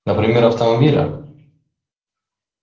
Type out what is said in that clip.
например автомобиля